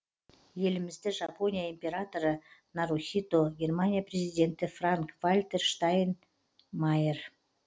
елімізді жапония императоры нарухито германия президенті франк вальтер штайнмайер